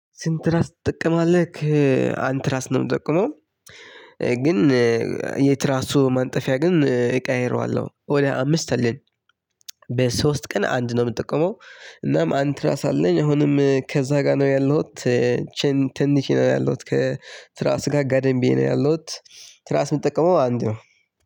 ስንት ራስ ትጠቀማለህ? አንድ ትራስ ነው የምጠቀመው። ግን የትራሱ ማንጠፊያ ግን እቀይረዋለሁ ወዲያ አምስት አለኝ። በሶስት ቀን አንድ ነው የምጠቀመው። እናም አንድ ትራስ አለኝ አሁንም ከዛ ጋር ነው ያለሁት። ተኝቸ ነው ያለሁት ከትራስ ጋር ጋደም ብየ ነው ያለሁት። ትራስ የምጠቀመው አንድ ነው።